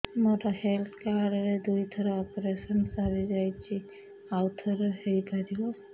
ମୋର health card ରେ ଦୁଇ ଥର ଅପେରସନ ସାରି ଯାଇଛି ଆଉ ଥର ହେଇପାରିବ